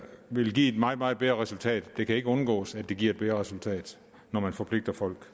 vil give et meget meget bedre resultat det kan ikke undgås at det giver et bedre resultat når man forpligter folk